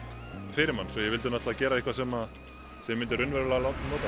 fyrir mann svo ég vildi náttúrulega gera eitthvað sem ég myndi raunverulega nota